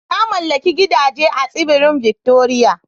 Na mallaki gidaje da yawa a Tsibirin Victoria